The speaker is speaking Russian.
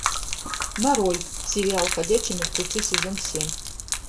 нарой сериал ходячие мертвецы сезон семь